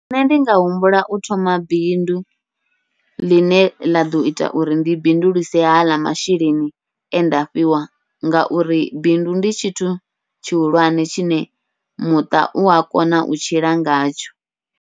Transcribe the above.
Nṋe ndi nga humbula u thoma bindu ḽine ḽa ḓo ita uri ndi bindulise haḽa masheleni e nda fhiwa, ngauri bindu ndi tshithu tshihulwane tshine muṱa ua kona u tshila ngatsho.